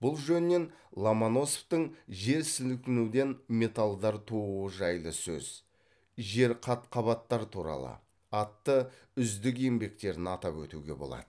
бұл жөнінен ломоносовтың жер сілкінуден металдар тууы жайлы сөз жер қат қабаттар туралы атты үздік еңбектерін атап өтуге болады